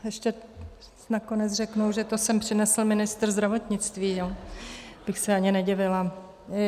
Ještě nakonec řeknou, že to sem přinesl ministr zdravotnictví, já bych se ani nedivila...